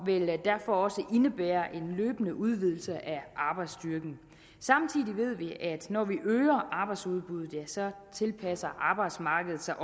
vil derfor også indebære en løbende udvidelse af arbejdsstyrken samtidig ved vi at når vi øger arbejdsudbuddet tilpasser arbejdsmarkedet sig